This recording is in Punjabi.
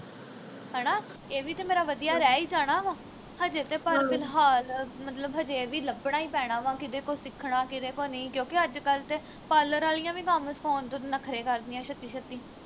ਹਣਾ ਇਹੀ ਵੀ ਤੇ ਮੇਰਾ ਵਧੀਆ ਰਹਿ ਈ ਜਾਣਾ ਵਾ ਹਜੇ ਤੇ ਫ਼ਿਲਹਾਲ ਮਤਲਬ ਹਜੇ ਇਹ ਵੀ ਲੱਭਣਾ ਈ ਪੈਣਾ ਵਾ ਕਿਹਦੇ ਕੋਲ ਸਿੱਖਣਾ ਕਿਹਦੇ ਕੋਲ ਨਹੀਂ ਕਿਉਂਕਿ ਅੱਜ ਕੱਲ ਤੇ parlor ਵਾਲੀਆਂ ਵੀ ਕੰਮ ਸਿਖਾਉਣ ਤੋਂ ਨਖਰੇ ਕਰਦੀਆਂ ਛੱਤੀ ਛੱਤੀ